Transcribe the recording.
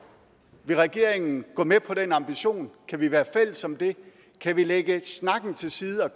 vil regeringen gå med på den ambition kan vi være fælles om det kan vi lægge snakken til side og